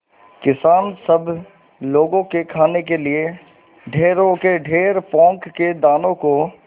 किसान सब लोगों के खाने के लिए ढेरों के ढेर पोंख के दानों को